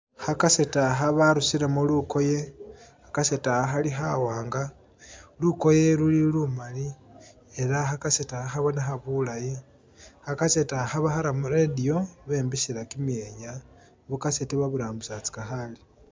Kha kaseti akha barusilemo lukoye, kha kaseti akha khali khawanga, lukoye luli lumali, era kha kaseti akha khabonekha bulayi, kha kaseti akha bakhara mu radio bembesela kyimyenya, bu kaseti baburambisatsaka khale.